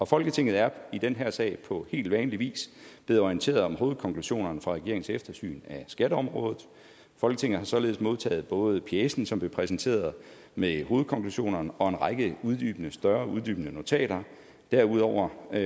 folketinget er i den her sag på helt vanlig vis blevet orienteret om hovedkonklusionerne fra regeringens eftersyn af skatteområdet folketinget har således modtaget både pjecen som blev præsenteret med hovedkonklusionerne og en række større uddybende notater derudover og